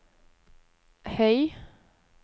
høy